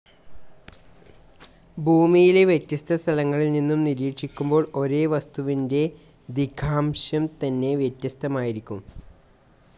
ഭൂമിയിലെ വ്യത്യസ്ത സ്ഥലങ്ങളിൽ നിന്നും നിരീക്ഷിക്കുമ്പോൾ ഒരേ വസ്തുവിൻ്റെ ദിഗാംശം തന്നെ വ്യത്യസ്ഥമായിരിക്കും.